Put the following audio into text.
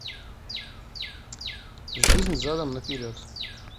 жизнь задом наперед